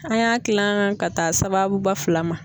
An y'a kilan ka taa sababuba fila ma.